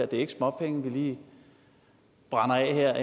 det er ikke småpenge vi lige brænder af her